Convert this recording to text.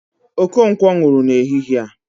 Okonkwo nwụrụ n'ehihe a